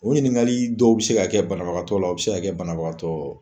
O ɲininkali dɔw be se ka kɛ banabagatɔ la, o be se ka kɛ banabagatɔ